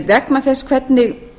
vegna þess hvernig